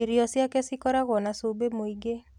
Irio ciake cikoragwo na cumbi mũingĩ.